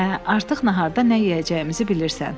Hə, artıq naharda nə yeyəcəyimizi bilirsən.